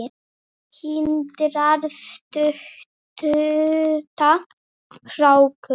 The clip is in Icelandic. Hindrar stutta hrókun.